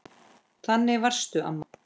Þannig varstu, amma.